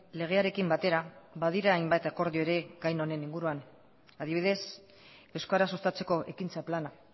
legearekin batera badira hainbat akordio ere gai honen inguruan adibidez euskara sustatzeko ekintza plana